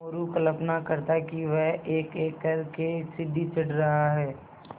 मोरू कल्पना करता कि वह एकएक कर के सीढ़ी चढ़ रहा है